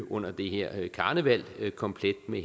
under det her karneval komplet med